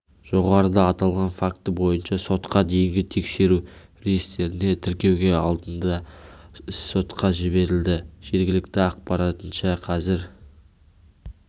жоғарыда аталған факті бойынша сотқа дейінгі тексеру реестріне тіркеуге алынды іс сотқа жіберілді жергілікті ақпаратынша қазір